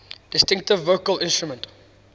distinctive vocal instrument